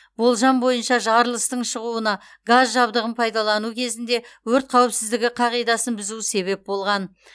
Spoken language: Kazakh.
болжам бойынша жарылыстың шығуна газ жабдығын пайдалану кезінде өрт қауіпсіздігі қағидасын бұзу себеп болған